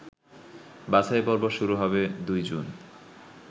বাছাইপর্ব শুরু হবে ২ জুন